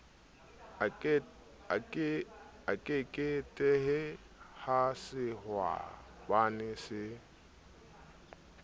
a keketehe ha sehwabane se